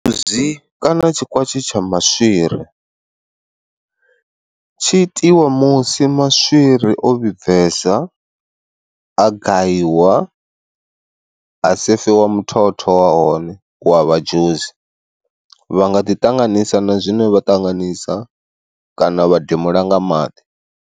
Zi kana tshikwatshe tsha maswiri. Tshi itiwa musi maswiri o vhibvesa, a gayiwa, ha sefiwa muthotho wa hone wa vha dzhusi, vha nga ḓi ṱanganisa na zwine vha ṱanganisa kana vha demula nga maḓi.